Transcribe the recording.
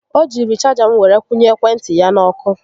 O jiiri chaga m were kwụnye ekwe ntị ya n'ọkụ